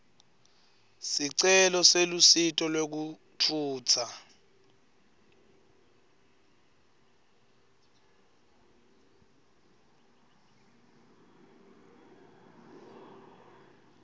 sicelo selusito lwekutfutsa